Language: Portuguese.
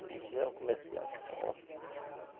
Eles eram comerciantes fortes.